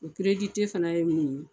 O fana ye min ye.